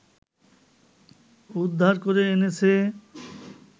উদ্ধার করে এনেছে